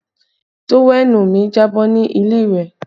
Tówẹ́ẹ̀nù mi jábọ́ ní ilé ìwẹ̀